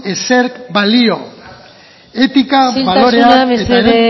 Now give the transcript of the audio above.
ezerk balio etika baloreak isiltasuna mesedez